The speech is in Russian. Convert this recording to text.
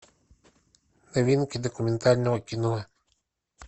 новинки документального кино